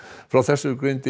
frá þessu greindi